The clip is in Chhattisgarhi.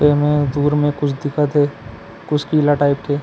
ए में दूर में कुछ दिखा थे कुछ किला टाइप के--